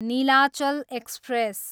Nilachal express